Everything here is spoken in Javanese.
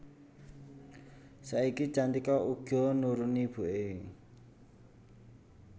Saiki Cantika uga nuruni ibuké